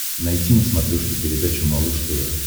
найти на смотрешке передачу малыш тв